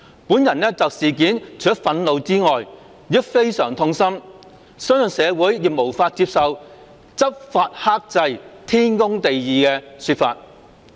本人就事件除了憤怒外，亦非常痛心，相信社會亦無法接受'執法克制，天公地義'的說法。